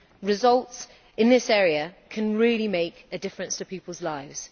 Results in this area can really make a difference to people's lives.